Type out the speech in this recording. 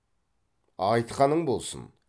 айтқаның болсын